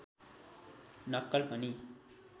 नक्कल पनि